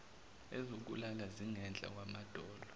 ezokulala zingenhla kwamadolo